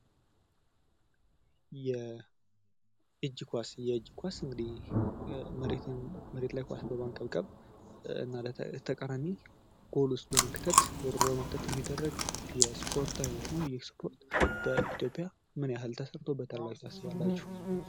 የእጂ ኳስ፦ የእጅ ኳስ እንግዲህ መሬት ላይ ኳስን በማንከብከብ እና ከተቃራኒ ጎል ውስጥ በመክተት የሚደረግ የስፖርት አይነት ነው። ይህ ስፖርት በኢትዮጵያ ምን ያህል ተሰርቶበታል ብላችሁ ትሥባላችሁ።